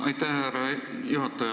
Aitäh, härra juhataja!